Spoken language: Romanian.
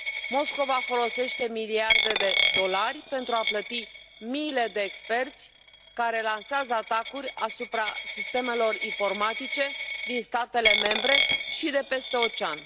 Moscova folosește miliarde de dolari pentru a plăti miile de experți care lansează atacuri asupra sistemelor informatice din statele membre și de peste ocean.